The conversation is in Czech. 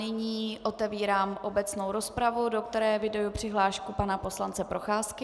Nyní otevírám obecnou rozpravu, do které eviduji přihlášku pana poslance Procházky.